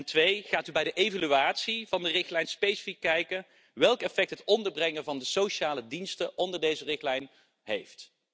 En twee, gaat u bij de evaluatie van de richtlijn specifiek kijken welk effect het onderbrengen van de sociale diensten onder deze richtlijn heeft?